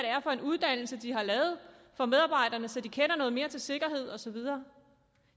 er for en uddannelse de har lavet for medarbejderne så de kender noget mere til sikkerhed og så videre